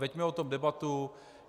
Veďme o tom debatu.